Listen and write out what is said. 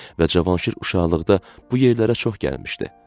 Və Cavanşir uşaqlıqda bu yerlərə çox gəlmişdi.